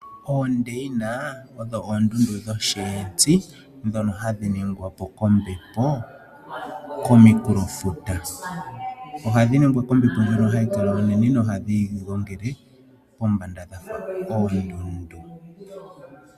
Oondayina odho oondundu dho shientsi ndhono hadhi ningwapo kombepo komafuta. Ohadhi ningwa kombepo ndjono hayi kala onene nohadhi igongele pombanda dhafa oondundu.